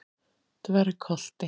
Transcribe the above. Dvergholti